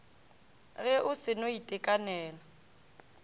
ge o se no itekanela